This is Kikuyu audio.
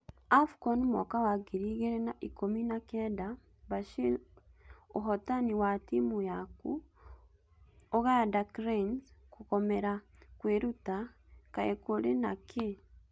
AFCON mwaka wa ngiri igĩrĩ na ikũmi na kenda: Bashiri ũhotani wa timũ yaku uganda Cranes kũgomera kwĩruta, kaĩ kũrĩ na kĩ?